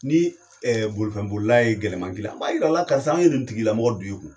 Ni bolifɛn bolila ye gɛlɛman k'i la i b'a yira a la karisa an ye nin tigi lamɔgɔ d'u i kun.